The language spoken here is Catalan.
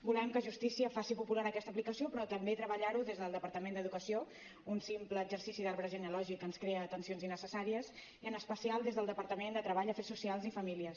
volem que justícia faci popular aquesta aplicació però també treballar hi des del departament d’educació un simple exercici d’arbre genealògic ens crea tensions innecessàries i en especial des del departament de treball afers socials i famílies